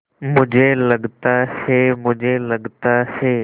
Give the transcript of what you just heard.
मुझे लगता है मुझे लगता है